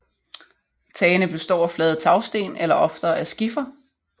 Tagene består af flade tagsten eller oftere af skifer